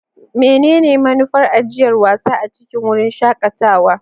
Menene manufar ajiyar wasa a cikin wurin shakatawa?